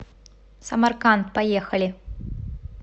самарканд поехали